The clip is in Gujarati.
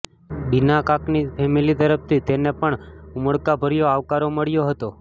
બીના કાકની ફેમિલી તરફથી તેને પણ ઉમળકાભર્યો આવકારો મળ્યો હતો